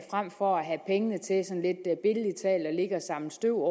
frem for at have pengene til at ligge og samle støv